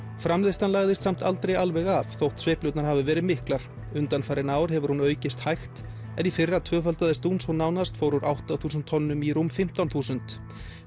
framleiðslan lagðist samt aldrei alveg af þótt sveiflurnar hafi verið miklar undanfarin ár hefur hún aukist hægt en í fyrra tvöfaldaðist hún svo nánast fór úr átta þúsund tonnum í rúm fimmtán þúsund